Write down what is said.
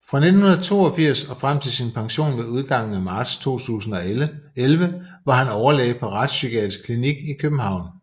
Fra 1982 og frem til sin pension med udgangen af marts 2011 var han overlæge ved Retspsykiatrisk Klinik i København